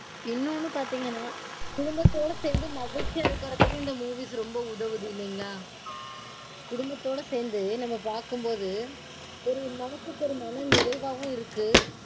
இன்னொன்னு பாத்தீங்கனா குடும்பத்தோட சேந்து மகிழ்ச்சியா இருக்கறதுக்கு இந்த movies ரொம்ப உதவுது இல்லைங்களா? குடும்பத்தோட சேந்து நாம பாக்கும்போது ஒரு மனசுக்கு ஒரு மன நிறைவாவும் இருக்கு